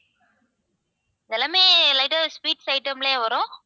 இது எல்லாமே sweet items லயும் வரும்